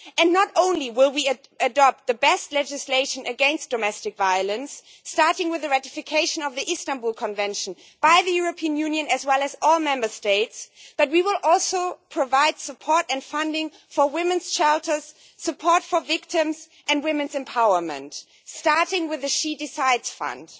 Not only will we adopt the best legislation against domestic violence, starting with the ratification of the Istanbul Convention by the European Union, as well as all Member States, but we will also provide support and funding for women's shelters, support for victims and women's empowerment, starting with the She Decides' Fund.